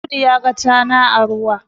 Audi ya ga tana a ruwa